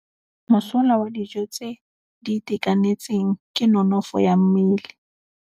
Mosola wa dijô tse di itekanetseng ke nonôfô ya mmele.